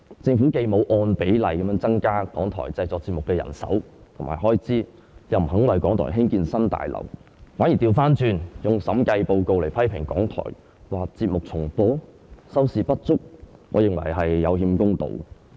政府既沒有按比例增加港台製作節目的人手和開支，又不願意為港台興建新大樓，反而倒過來利用審計署署長報告來批評港台，指他們的節目重播、收視不足，我認為這是有欠公道。